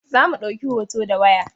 Za mu ɗauki hota da waya.